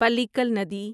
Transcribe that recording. پلیکل ندی